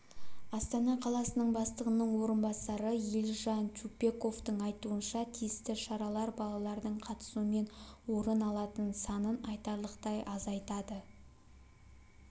астана қаласының бастығының орынбасары елжан чупековтың айтуынша тиісті шаралар балалардың қатысуымен орын алатын санын айтарлықтай азайтады